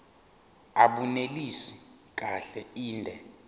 abunelisi kahle inde